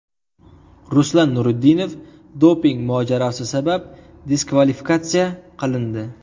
Ruslan Nurudinov doping mojarosi sabab diskvalifikatsiya qilindi .